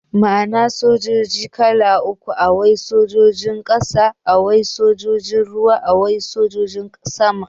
Muana sojoji kala uku, Awai sojojin ƙasa, Awai sojojin ruwa, Awai sojojin sama.